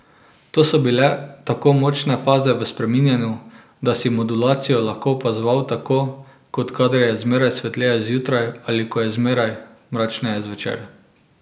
To so bile tako močne faze v spreminjanju, da si modulacijo lahko opazoval tako, kot kadar je zmeraj svetleje zjutraj ali ko je zmeraj mračneje zvečer.